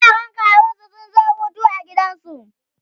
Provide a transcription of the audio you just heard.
yaran kawunsu sun zo Hutu a gidansu